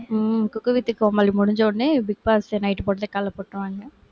um cook with கோமாளி முடிஞ்சவுடனே, big boss night போட்டதை காலைல போட்டிருவாங்க